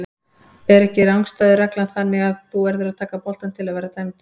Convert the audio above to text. Er ekki rangstæðu reglan þannig að þú verður að taka boltann til að vera dæmdur?